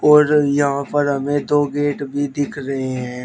और यहां पर हमें दो गेट भी दिख रहे हैं।